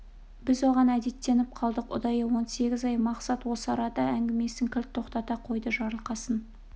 біз оған әдеттеніп қалдық ұдайы он сегіз ай мақсат осы арада әңгімесін кілт тоқтата қойды жарылқасын